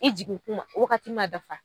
I jigin kuma wagati ma dafa.